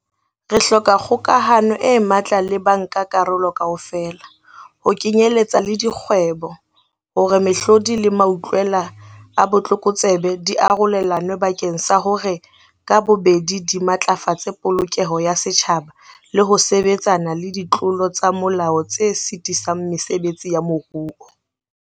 Re hloka kgokahano e matla le bankakarolo kaofela, ho kenyeletsa le dikgwebo, hore mehlodi le mautlwela a botlokotsebe di arolelanwe bakeng sa hore ka bobedi di matlafatse polokeho ya setjhaba le ho sebetsana le ditlolo tsa molao tse sitisang mesebetsi ya moruo.